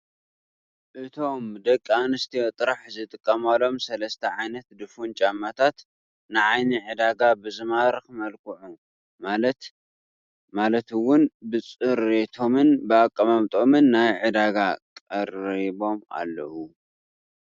እቶም ደቂ ኣነስትዮ ጥራሕ ዝጥቀማሎም ሰለስተ ዓይነት ድፉን ጫማታት ንዓይኒ ዕዳጋ ብዝማርኽ መልክዑ ማለት እውን ብፅሬቶምን ብኣቀማምጦም ናብ ዓዳጊ ቀሪቦም ኣለዉ፡፡